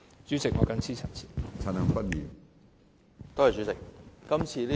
主席，我謹此陳辭。